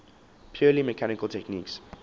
purely mechanical techniques